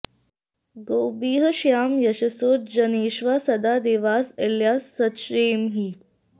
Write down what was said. गोभिः॑ ष्याम य॒शसो॒ जने॒ष्वा सदा॑ देवास॒ इळ॑या सचेमहि